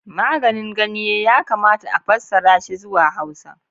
"Maganin ganye" yakamata a fassara shi zuwa Hausa.